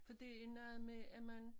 For det er noget med at man